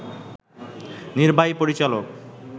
নির্বাহী পরিচালক